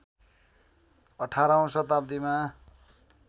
१८ औँ शताब्दीमा